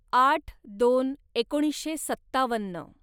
आठ दोन एकोणीसशे सत्तावन्न